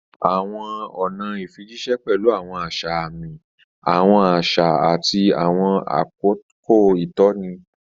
Àwọn ọ̀nà ìfijíṣẹ́ pẹ̀lú àwọn àṣà àmì, àwọn àṣà, àti àwọn àkókò ìtọ́ni.